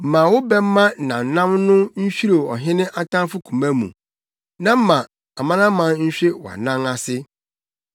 Ma wo bɛmma nnamnam no nhwirew ɔhene atamfo koma mu; na ma amanaman nhwe wʼanan ase.